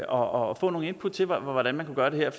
og få nogle input til hvordan man kunne gøre det her